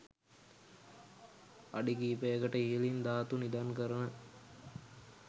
අඩි කිහිපයකට ඉහළින් ධාතු නිදන් කරන